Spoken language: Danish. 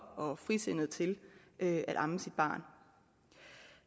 og frisindet til at amme sit barn